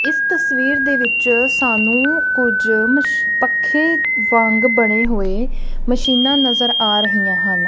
ਇੱਸ ਤਸਵੀਰ ਦੇ ਵਿੱਚ ਸਾਨੂੰ ਕੁਛ ਮਸ਼ ਪੱਖੇ ਵਾਂਗ ਬਣੇ ਹੋਏ ਮਸ਼ੀਨਾਂ ਨਜ਼ਰ ਆ ਰਹੀਆਂ ਹਨ।